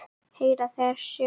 Heyra þeirra sögur.